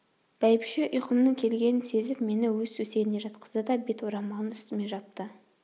бәйбіше ұйқымның келгенін сезіп мені өз төсегіне жатқызды да бет орамалын үстіме жапты